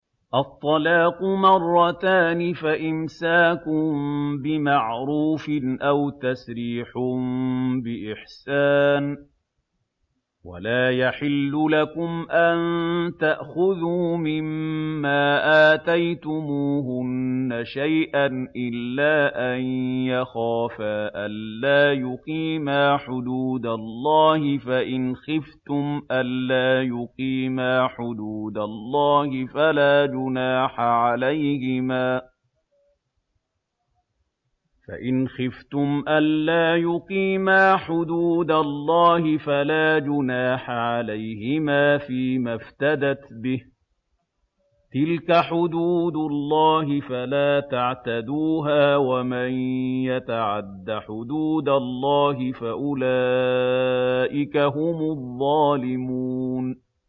الطَّلَاقُ مَرَّتَانِ ۖ فَإِمْسَاكٌ بِمَعْرُوفٍ أَوْ تَسْرِيحٌ بِإِحْسَانٍ ۗ وَلَا يَحِلُّ لَكُمْ أَن تَأْخُذُوا مِمَّا آتَيْتُمُوهُنَّ شَيْئًا إِلَّا أَن يَخَافَا أَلَّا يُقِيمَا حُدُودَ اللَّهِ ۖ فَإِنْ خِفْتُمْ أَلَّا يُقِيمَا حُدُودَ اللَّهِ فَلَا جُنَاحَ عَلَيْهِمَا فِيمَا افْتَدَتْ بِهِ ۗ تِلْكَ حُدُودُ اللَّهِ فَلَا تَعْتَدُوهَا ۚ وَمَن يَتَعَدَّ حُدُودَ اللَّهِ فَأُولَٰئِكَ هُمُ الظَّالِمُونَ